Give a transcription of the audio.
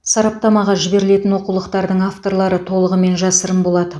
сараптамаға жіберілетін оқулықтардың авторлары толығымен жасырын болады